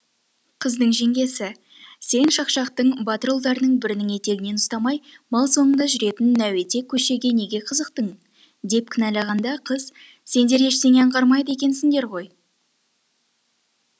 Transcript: қыздың жеңгесі сен шақшақтың батыр ұлдарының бірінің етегінен ұстамай мал соңында жүретін нәуетек көшейге неге қызықтың деп кінәлағанда қыз сендер ештеңе аңғармайды екенсіңдер ғой